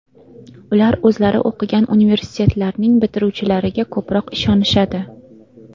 Ular o‘zlari o‘qigan universitetlarning bitiruvchilariga ko‘proq ishonishadi.